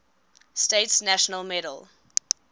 states national medal